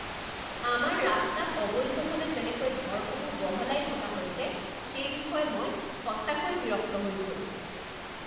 আমাৰ ৰাস্তাত অবৈধভাৱে যেনেকৈ ঘৰসমূহ বহলাই থকা হৈছে সেই বিষয়ে মই সঁচাকৈয়ে বিৰক্ত হৈছো।